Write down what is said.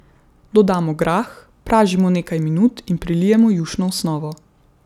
Dodamo grah, pražimo nekaj minut in prilijemo jušno osnovo.